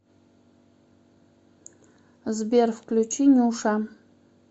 сбер включи нюша